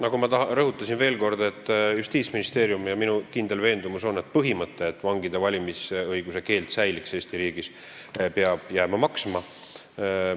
Nagu ma rõhutasin, Justiitsministeeriumi ja minu kindel veendumus on selline: põhimõte, et vangide valimisõiguse keeld Eesti riigis säiliks, peab jääma maksma.